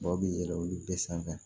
Dɔw bɛ yɛlɛn olu bɛɛ sanfɛ